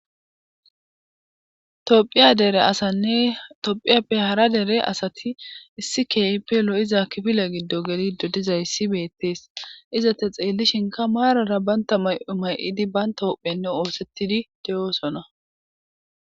tophiya dere asanne tophiyappe hara dere asati issi kehippe lo7iza kifile giddo gelido dizayssi beettees izata xeellishinka maarara banta may7o may7idi banta hophenne oosettidi de7oosona